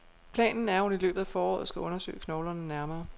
Planen er, at hun i løbet af foråret skal undersøge knoglerne nærmere.